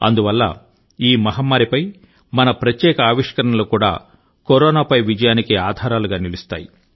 అందువల్ల ఈ మహమ్మారిపై మన ప్రత్యేక ఆవిష్కరణలు కూడా కరోనాపై విజయానికి ఆధారాలుగా నిలుస్తాయి